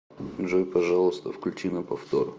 джой пожалуйста включи на повтор